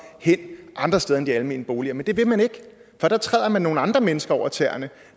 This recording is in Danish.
hen andre steder end de almene boliger men det vil man ikke for der træder man nogle andre mennesker over tæerne